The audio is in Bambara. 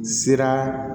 Sira